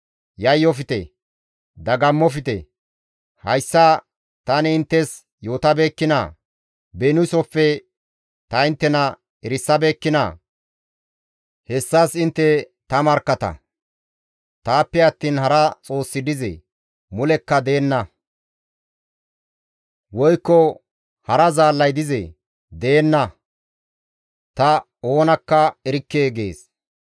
Yayyofte; dagammofte. Hayssa tani inttes yootabeekkinaa? Beniisofe ta inttena erisabeekkinaa? Hessas intte ta markkata. Taappe attiin hara xoossi dizee? Mulekka deenna; woykko hara Zaallay dizee? Deenna; ta oonakka erikke» gees.